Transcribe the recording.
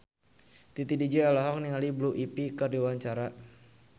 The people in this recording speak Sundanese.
Titi DJ olohok ningali Blue Ivy keur diwawancara